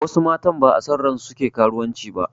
Wasu matan ba'a son ransu suke karuwanci ba